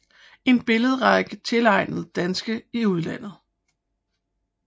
En billederække tilegnet Danske i udlandet